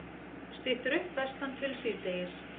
Styttir upp vestantil síðdegis